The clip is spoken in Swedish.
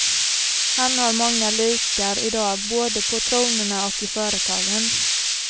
Han har många likar idag både på tronerna och i företagen.